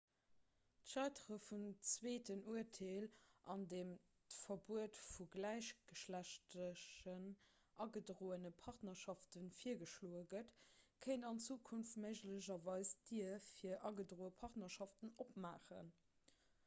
d'scheitere vum zweeten urteel an deem d'verbuet vu gläichgeschlechtlechen agedroene partnerschafte virgeschloe gëtt kéint an zukunft méiglecherweis d'dier fir agedroe partnerschaften opmaachen